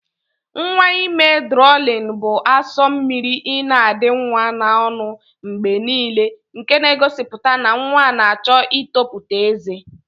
Nwa ime drọlin bu aso mmiri ina adi nwa na ọnụ mgbenile nke n'egosiputa na nwa na achọ itoputa eze.